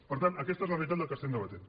per tant aquesta és la realitat que estem debatent